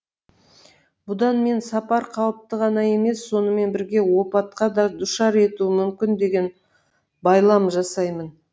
бұдан мен сапар қауіпті ғана емес сонымен бірге опатқа да душар етуі мүмкін деген байлам жасаймын